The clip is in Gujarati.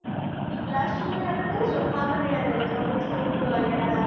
Last movie આપણે કહ્યું હા મને યાદ આવ્યું કબીરસિંહ જોવા ગયા હતા આપણે